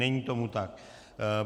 Není tomu tak.